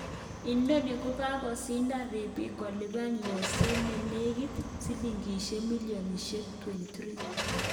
Inoni kokakosindan riibik kolipan yokset nenekit silingishek milioniahek 23.